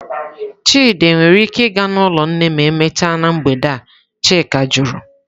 Chidi nwere ike ịga n'ụlọ nne ma emechaa na mgbede a?" Chika jụrụ.